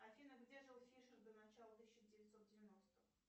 афина где жил фишер до начала тысяча девятьсот девяностых